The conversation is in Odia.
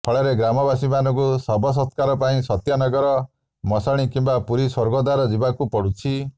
ଫଳରେ ଗ୍ରାମବାସୀଙ୍କୁ ଶବସତ୍କାର ପାଇଁ ସତ୍ୟନଗର ମଶାଣି କିମ୍ବା ପୁରୀ ସ୍ବର୍ଗଦ୍ବାର ଯିବାକୁ ପଡ଼ୁଛି